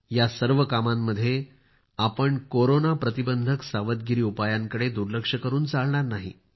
या सर्व कामांमध्ये आपण कोरोना प्रतिबंधक सावधगिरीकडे दुर्लक्ष करून चालणार नाही